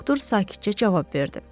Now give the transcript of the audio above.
Doktor sakitcə cavab verdi.